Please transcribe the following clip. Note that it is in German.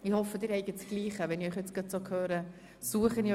Ich hoffe, Sie haben dasselbe Papier vor sich.